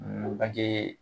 banke